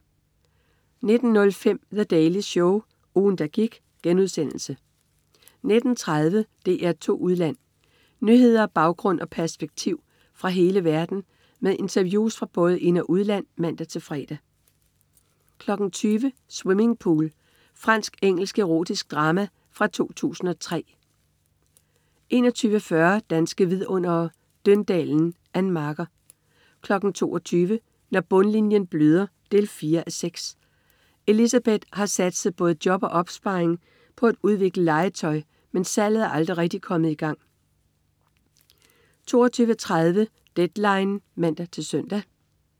19.05 The Daily Show. Ugen, der gik* 19.30 DR2 Udland. Nyheder, baggrund og perspektiv fra hele verden med interviews fra både ind- og udland (man-fre) 20.00 Swimming Pool. Fransk-engelsk erotisk drama fra 2003 21.40 Danske Vidundere: Døndalen. Ann Marker 22.00 Når bundlinjen bløder 4:6. Elisabeth har satset både job og opsparing på at udvikle legetøj, men salget er aldrig rigtig kommet i gang 22.30 Deadline (man-søn)